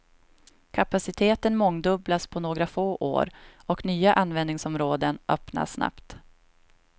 Kapaciteten mångdubblas på några få år, och nya användningsområden öppnas snabbt.